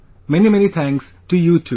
Many many thanks to you too